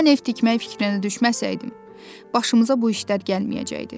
Mən ev tikmək fikrinə düşməsəydim, başımıza bu işler gəlməyəcəkdi.